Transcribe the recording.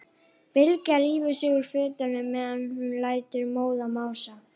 Bylgja rífur sig úr fötunum meðan hún lætur móðan mása.